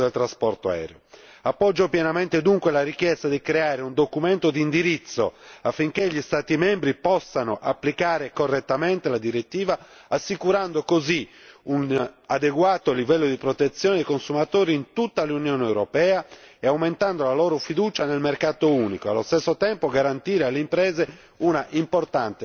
Appoggio dunque pienamente la richiesta di creare un documento di indirizzo, affinché gli Stati membri possano applicare correttamente la direttiva, assicurando così un adeguato livello di protezione dei consumatori in tutta l'Unione europea e aumentando la loro fiducia nel mercato unico, e allo stesso tempo garantire alle imprese una importante certezza del diritto.